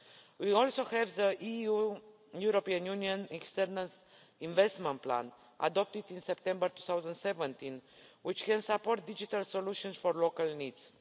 We also have the European Union External Investment Plan adopted in September 2017, which can support digital solutions for local needs.